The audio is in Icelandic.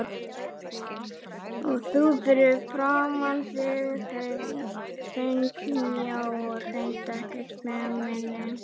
Og þú fyrir framan mig þvengmjó og hreint ekkert feimin.